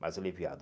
Mais aliviado.